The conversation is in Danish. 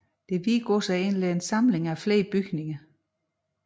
Det hvide gods er egentlig en samling af flere bygninger